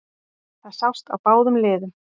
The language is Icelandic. Það sást á báðum liðum